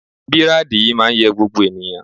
Bírádì yìí máa ń yẹ gbogbo ènìyàn